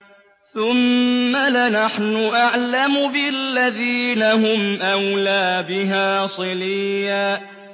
ثُمَّ لَنَحْنُ أَعْلَمُ بِالَّذِينَ هُمْ أَوْلَىٰ بِهَا صِلِيًّا